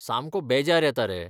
सामको बेजार येता रे!